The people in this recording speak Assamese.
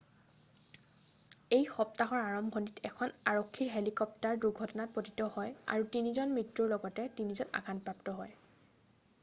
এই সপ্তাহৰ আৰম্ভণিত এখন আৰক্ষীৰ হেলিকপ্টাৰ দুৰ্ঘটনাত পতিত হয় আৰু তিনিজনৰ মৃত্যুৰ লগতে তিনিজন আঘাতপ্ৰাপ্ত হয়